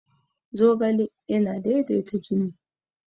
zogale yana daidaita jini